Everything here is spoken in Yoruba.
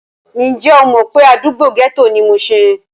Ǹjẹ́ o mọ̀ pé àdúgbò gẹ́tò ni mushin?